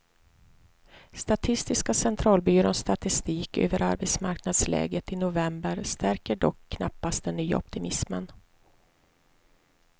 Statistiska centralbyråns statistik över arbetsmarknadsläget i november stärker dock knappast den nya optimismen.